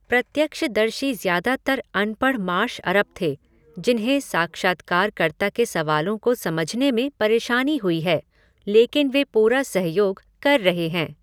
प्रत्यक्षदर्शी ज्यादातर अनपढ़ मार्श अरब थे जिन्हें साक्षात्कारकर्ता के सवालों को समझने में परेशानी हुई है, लेकिन वे पूरा सहयोग कर रहे हैं।